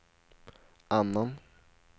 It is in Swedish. annan